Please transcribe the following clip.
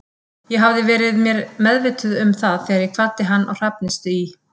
Ég hafði verið mér meðvituð um það þegar ég kvaddi hann á Hrafnistu í